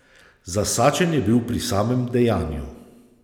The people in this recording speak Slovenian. Zasačen je bil pri samem dejanju.